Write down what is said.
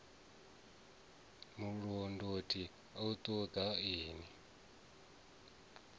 mulondoti a i ṱo ḓei